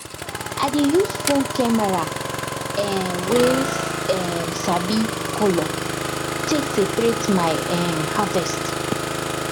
i dey use phone camera um wey um sabi color take separate my um harvest